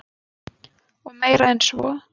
Og meir en svo.